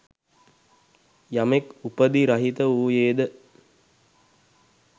යමෙක් උපධි රහිත වූයේද